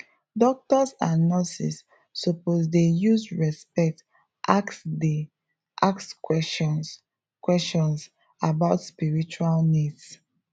doctors and nurses suppose dey use respect ask dey ask questions questions about spiritual needs